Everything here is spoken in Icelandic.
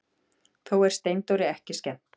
Þó er Steindóri ekki skemmt.